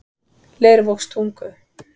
Leirvogstungu